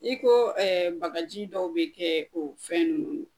I ko bagaji dɔw be kɛɛ o fɛn nunnu